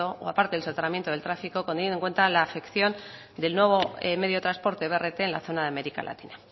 o a parte del soterramiento del trafico teniendo en cuenta la afección del nuevo medio de transporte brt en la zona de américa latina